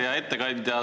Hea ettekandja!